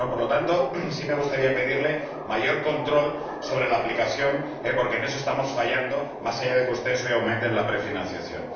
Por lo tanto, sí me gustaría pedirle mayor control sobre la aplicación, porque en eso estamos fallando, más allá de que ustedes hoy aumenten la prefinanciación.